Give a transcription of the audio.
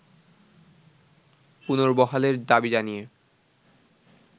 পুনর্বহালের দাবি জানিয়ে